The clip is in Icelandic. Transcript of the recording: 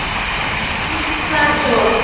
Nú, hvað svo?